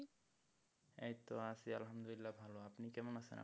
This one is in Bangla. এইতো আছি আলহামদুলিল্লাহ ভালো, আপনি কেমন আছেন আপু?